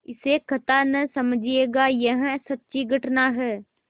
इसे कथा न समझिएगा यह सच्ची घटना है